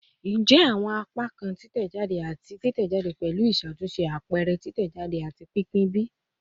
Njẹ awọn apakan titẹjade ati titẹjade pẹlu iṣatunṣe, apẹrẹ, titẹjade, ati pinpin bi?